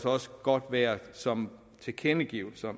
også godt være som tilkendegivelser